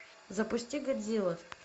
запусти годзилла